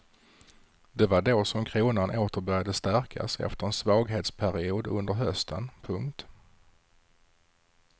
Det var då som kronan åter började stärkas efter en svaghetsperiod under hösten. punkt